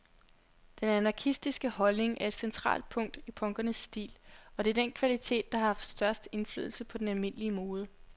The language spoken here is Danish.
Den anarkistiske holdning er et centralt punkt i punkernes stil, og det er den kvalitet, der har haft størst indflydelse på den almindelige mode.